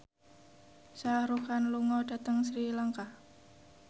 Shah Rukh Khan lunga dhateng Sri Lanka